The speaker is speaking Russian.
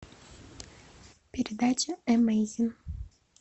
передача эмейзин